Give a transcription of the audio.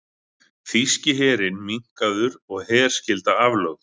Þýski herinn minnkaður og herskylda aflögð